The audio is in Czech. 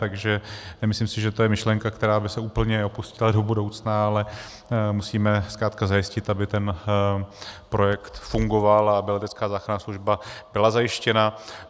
Takže nemyslím si, že to je myšlenka, která by se úplně opustila do budoucna, ale musíme zkrátka zajistit, aby ten projekt fungoval a aby letecká záchranná služba byla zajištěna.